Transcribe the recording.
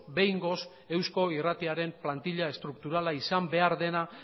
behingoz eusko irratiaren plantila estrukturala izan behar dena